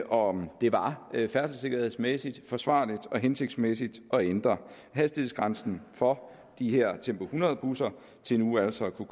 om det var færdselssikkerhedsmæssigt forsvarligt og hensigtsmæssigt at ændre hastighedsgrænsen for de her tempo hundrede busser til nu altså at